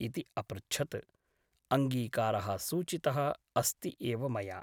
इति अपृच्छत् । अङ्गीकारः सूचितः अस्ति एव मया ।